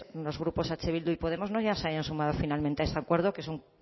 los grupos eh bildu y podemos no se hayan sumado finalmente a este acuerdo que es un